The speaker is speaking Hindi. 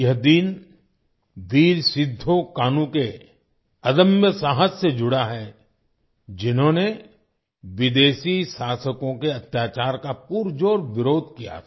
यह दिन वीर सिद्धो कान्हू के अदम्य साहस से जुड़ा है जिन्होंने विदेशी शासकों के अत्याचार का पुरजोर विरोध किया था